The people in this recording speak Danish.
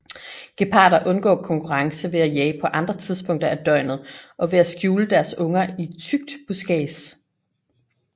Geparder undgår konkurrence ved at jage på andre tidspunkter af døgnet og ved at skjule deres unger i tykt buskads